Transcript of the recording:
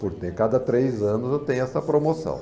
Por ter cada três anos, eu tenho essa promoção.